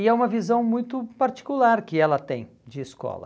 E é uma visão muito particular que ela tem de escola.